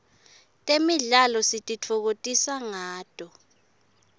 temidlalo sititfokotisa ngato